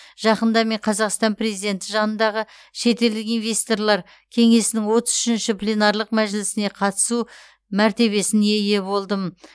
жақында мен қазақстан президенті жанындағы шетелдік инвесторлар кеңесінің отыз үшінші пленарлық мәжілісіне қатысу мәртебесіне ие болдым